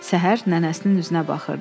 Səhər nənəsinin üzünə baxırdı.